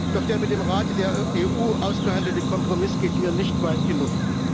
Doch der mit dem Rat der EU ausgehandelte Kompromiss geht mir nicht weit genug.